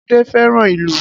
Ade fẹ́ràn ìlù